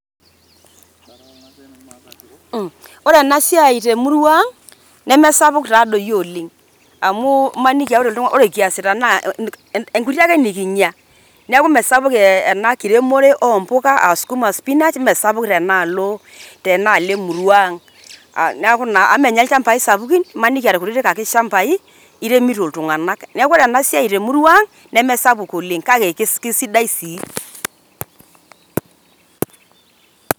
Ore ena siai te murua ang, nemesapuk taa doi oleng. Amu maniki ore kiasita naa inkuti ake nekinya, neaku mee sapuk ena kiremore oompuka aa sukuma, spinach meesapuk tenaalo, tenaalo emurua ang, neaku naa e mee ninye ilchambai sapuki, maniki ninye aa ilkutiti ake shambai, iremito iltung'ana, neaku ore ena siai te murua aang, nemesapuk oleng, kake kesidai taa.